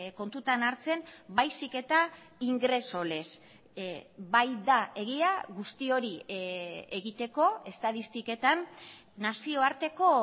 kontutan hartzen baizik eta ingreso lez bai da egia guzti hori egiteko estatistiketan nazioarteko